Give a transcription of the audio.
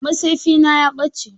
Matsefi na ya ɓace.